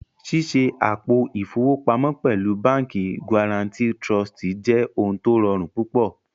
Ṣíṣẹ àpò ifowopamo pẹ̀lú Bánkì Guarantì Trụ̀stì jẹ́ ọ̀hun tó rọ̀run púpọ̀